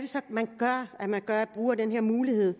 så man gør når man gør brug af den her mulighed